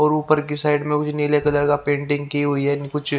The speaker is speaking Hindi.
और ऊपर की साइड में कुछ नीले कलर का पेंटिंग की हुई है कुछ --